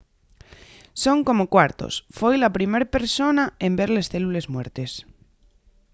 son como cuartos foi la primer persona en ver les célules muertes